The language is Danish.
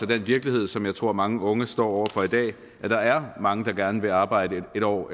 den virkelighed som jeg tror mange unge står over for i dag at der er mange der gerne vil arbejde en år